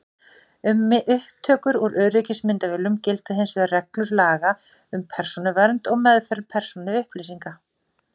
Um upptökur úr öryggismyndavélum gilda hins vegar reglur laga um persónuvernd og meðferð persónuupplýsinga.